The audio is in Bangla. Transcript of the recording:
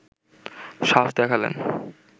সাহস দেখালেন